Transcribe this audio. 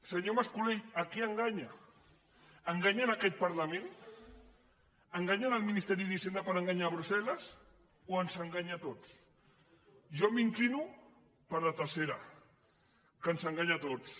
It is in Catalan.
senyor mascolell a qui enganya enganya aquest parlament enganya el ministeri d’hisenda per enganyar brussel·les o ens enganya a tots jo m’inclino per la tercera que ens enganya a tots